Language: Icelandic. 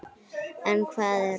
En hvað eru þessir?